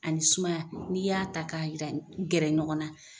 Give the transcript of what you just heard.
Ani ni sumaya n'i y'a ta ka yira ka gɛrɛ ɲɔgɔn na.